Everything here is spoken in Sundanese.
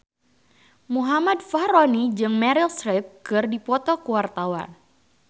Muhammad Fachroni jeung Meryl Streep keur dipoto ku wartawan